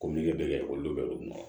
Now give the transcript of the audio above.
Ko meleke bɛ kɛ olu bɛ don olu mɔ